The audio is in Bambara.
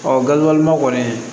Ɔ gafe ma kɔni